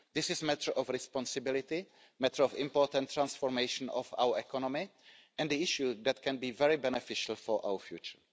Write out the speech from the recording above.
This is a matter of responsibility, a matter of important transformation of our economy and an issue that can be very beneficial for our future.